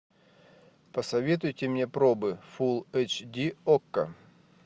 посоветуйте мне пробы фулл эйч ди окко